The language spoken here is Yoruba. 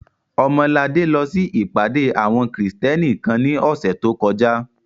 Ọmọladé lọ sí ìpàdé àwọn Krìstẹ́nì kan ní ọ̀sẹ̀ tó kọjá